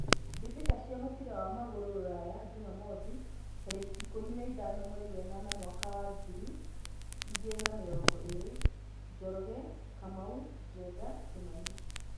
Mbĩtĩka cia mũbira wa magũrũ Ruraya Jumamwothi tarĩki ikũmi na ithano mweri wenana mwakainĩ wa ngiri igĩrĩ na mĩrongo ĩrĩ :Njoroge, Kamau, Njenga, Kimani